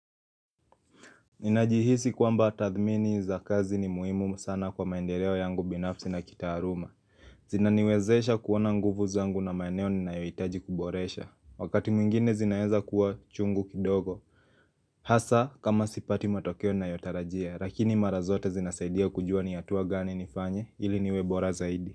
Ninajihisi kwamba tathmini za kazi ni muhimu sana kwa maendeleo yangu binafsi na kitaaluma Zinaniwezesha kuona nguvu zangu na maeneo ninayohitaji kuboresha Wakati mwingine zinaeza kuwa chungu kidogo Hasa kama sipati matokeo ninayotarajia lakini mara zote zinasaidia kujua ni hatua gani nifanye ili niwe bora zaidi.